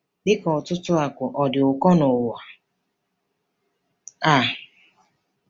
Dị ka ọtụtụ akụ, ọ dị ụkọ n'ụwa a.